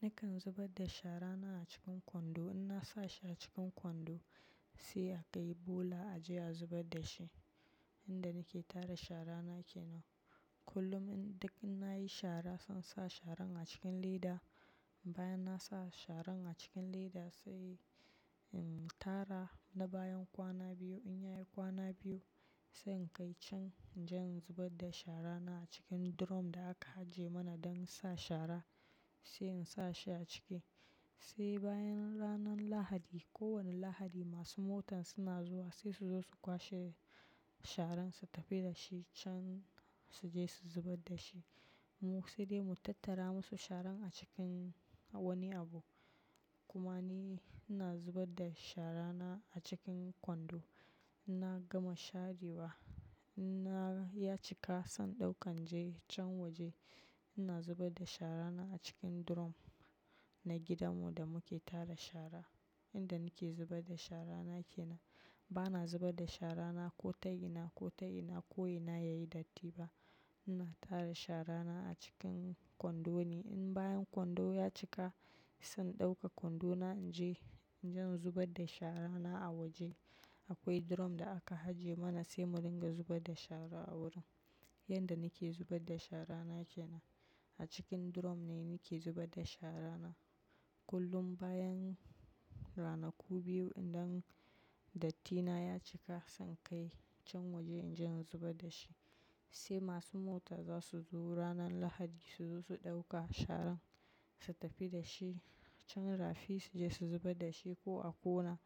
Nakan zubar da shara na a cikin kwando. In na sa shi a cikin kwando sai a kai bola a je a zubar da shi. Inda nake tara shara na kenan. Kullum in duk in na yi shara, zan sa sharan a cikin leda. Bayan na sa sharan a cikin leda sai in tara na bayan kwana biyu. In ya yi kwana biyu sai in kai can inje in zubar da shara na a cikin drum da aka ajiye mana don sa shara sai in sa shi a ciki. Sai bayan ranan Lahadi, kowane Lahadi masu motan suna zuwa sai su zo su kwashe sharan su tafi da shi can su je su zubar da shi. Mu sai dai mu tattara musu sharan a cikin wani abu. Kuma ni ina zubar da shara na a cikin kwando. Inna gama share wa. Na ya cika san ɗauka nje can waje. Ina zubar da shara na a cikin drum na gidanmu da muke tara shara. Inda nake zubar da shara na kenan. Bana zubar da shara na ko ta ina ko ta ina ko ina ya yi datti ba. Ina tara shara na a cikin kwando ne. In bayan kwando ya cika zan ɗauka kwando na nje inje in zubar da shara na a waje. Akwai drum da aka ajiye mana sai mu dinga zubar da shara a wurin. Inda nake zubar da shara na kenan. A cikin drum ne nake zubar da shara na. Kullum bayan ranaku biyu idan dattina ya cika zan kai can waje inje in zubar da shi. Sai masu mota za su zo ranan Lahadi su zo su ɗauka sharan su tafi da shi can rafi su je su zubar da shi ko a kona.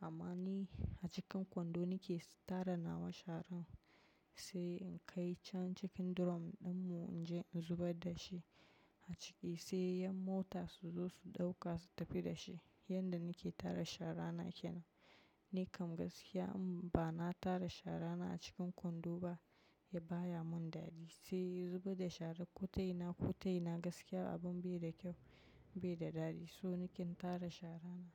Amma ni a cikin kwando nake tara nawa sharan sai in kai can cikin drum ɗinmu in je in zubar da shi a ciki sai 'yan mota su zo su ɗauka su tafi da shi. Yanda nake tara shara na kenan. Ni kam gaskiya in ba na tara shara na a cikin kwando ba baya mun dadi. Sai zubar da shara ko ta ina ko ta ina gaskiya abin bai da kyau, bai da dadi. So nake natara shara na.